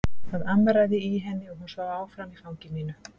Það amraði í henni og hún svaf áfram í fangi mínu.